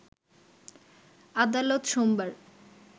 আদালত সোমবার